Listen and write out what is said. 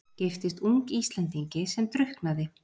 Giftist ung Íslendingi sem drukknaði.